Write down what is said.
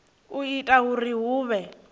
u ita uri hu vhe